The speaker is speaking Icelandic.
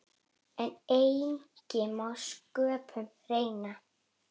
En eigi má sköpum renna.